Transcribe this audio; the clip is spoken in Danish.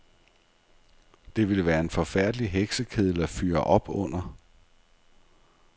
Det ville være en forfærdelig heksekedel at fyre op under.